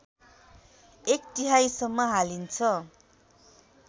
एकतिहाई सम्म हालिन्छ